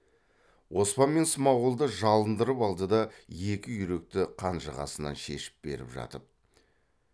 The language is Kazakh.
оспан мен смағұлды жалындырып алды да екі үйректі қанжығасынан шешіп беріп жатып